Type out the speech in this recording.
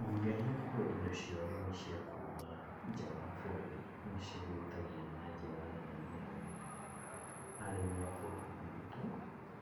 Wongerereku wa indo cia ũrĩmi cia kuma nja wa bũrũri nĩ cihutagia na njĩra nene mũno arĩmi a bũrũri witũ